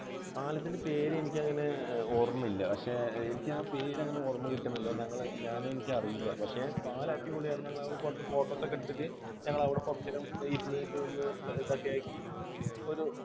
പാലത്തിൻറെ പേര് എനിക്ക് അങ്ങനെ ഓർമ്മയില്ല. പക്ഷേ എനിക്ക് പേര് അങ്ങനെ ഓർമ്മ കിട്ടുന്നില്ല ഞാൻ ഞങ്ങള് എനിക്ക് അറിയില്ല. പക്ഷെ പാലം അടിപൊളിയായിരുന്നു ഞങ്ങൾ അവിടെ നിന്ന് കുറച്ചു photos ഒക്കെ എടുത്തിട്ട് ഞങ്ങൾ അവിടെ കുറച്ചു നേരം ഇരുന്നിട്ട് ഒന്ന് ഇതൊക്കെ ആക്കി ഒരു